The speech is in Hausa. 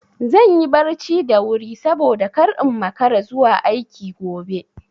Zan yi barci da wuri saboda kar in makara zuwa aiki gobe.